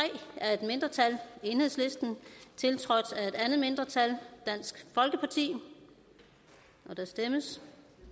af et mindretal tiltrådt af et andet mindretal og der kan stemmes